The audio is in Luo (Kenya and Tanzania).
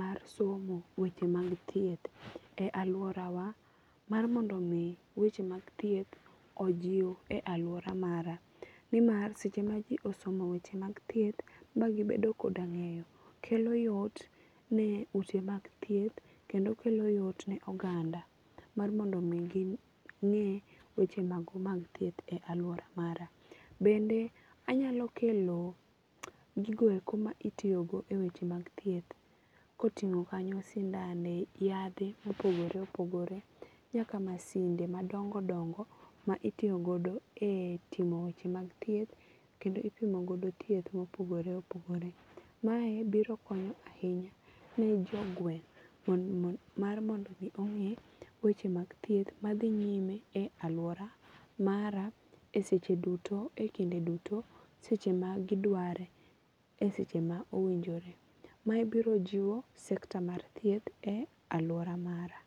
mar somo weche mag thieth e aluora wa mar mondo mi weche mag thieth ojiw e aluora mara. Ni mar seche ma ji osomo weche mag thieth ma gibedo koda ng'eyo kelo yot ne ute mag thieth kendo kelo yot ne oganda mar mondo mi ging'e weche mago mag thieth e aluora mara. Bende anyalo kelo gigo eko ma itiyogo e weche mag thieth. Koting'o kanyo sindane, yadhe mopogore opogore nyaka masinde madongo dongo ma itiyogodo e timo weche mag thieth kendo ipimo godo thieth mopogore opogore. Mae biro konyo ahinya ne jogweng' mar mondo mi ong'e weche mag thieth ma dhi nyime e lauora mara a seche duto e kinde duto e seche ma gidware eseche ma owinjore. Mae biro jiwo sector mar thieth e aluora mara.